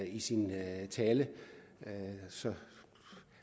i sin tale så